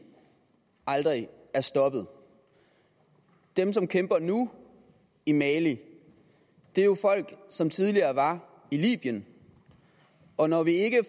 aldrig er stoppet dem som kæmper nu i mali er jo folk som tidligere var i libyen og når vi ikke